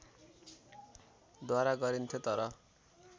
द्वारा गरिन्थ्यो तर